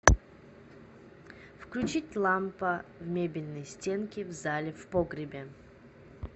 включить лампа в мебельной стенке в зале в погребе